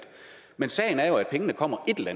men sagen er jo at pengene kommer et eller